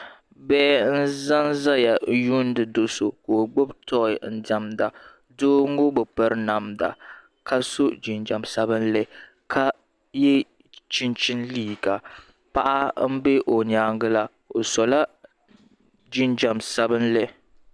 Bihi n zanzaya yuuni do'so ka gbibi tooyi n diɛmda doo ŋɔ bi piri namda ka so jinjiɛma sabinli ka ye chinchini liiga paɣa m be o nyaanga la o sola jinjiɛm sabinli.